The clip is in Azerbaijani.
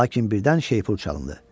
Lakin birdən şeypur çalındı.